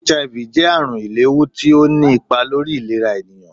HIV jẹ àrùn ìléhú tí ọ ní ipá lórí ìlerá ènìyàn